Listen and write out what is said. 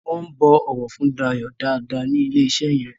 wón bó ọwọ fún Dayo dá dá ni ilẹ iṣé yén